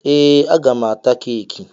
Ee! A ga m ata keeki.